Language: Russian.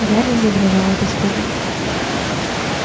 гарри задрожал от испуга